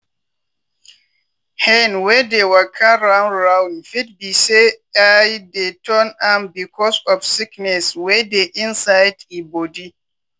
hen wey dey waka round round fit be say eye dey turn am becos of sickness wey dey inside e body.